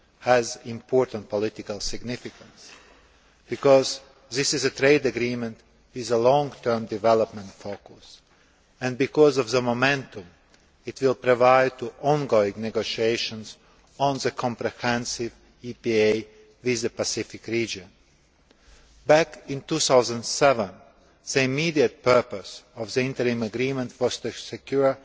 has important political significance because this is a trade agreement with a long term development focus and because of the momentum it will provide to ongoing negotiations on the comprehensive EPA with the Pacific region. Back in 2007, the immediate purpose of the interim agreement was to secure